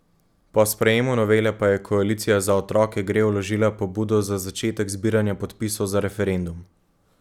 Po sprejemu novele pa je koalicija Za otroke gre vložila pobudo za začetek zbiranja podpisov za referendum.